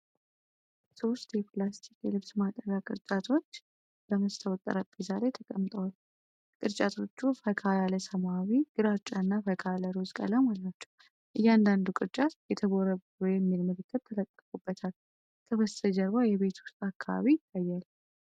ሶስት የፕላስቲክ የልብስ ማጠቢያ ቅርጫቶች (laundry baskets) በመስታወት ጠረጴዛ ላይ ተቀምጠዋል። ቅርጫቶቹ ፈካ ያለ ሰማያዊ፣ ግራጫ እና ፈካ ያለ ሮዝ ቀለም አላቸው። እያንዳንዱ ቅርጫት የተቦረቦረ የሚል ምልክት ተለጥፎበታል። ከበስተጀርባ የቤት ውስጥ አካባቢ ይታያል።